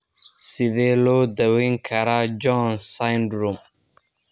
Sidee loo daweyn karaa Jones syndrome?